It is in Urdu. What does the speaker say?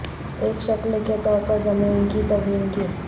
ایک شکل کے طور پر زمین کی تزئین کی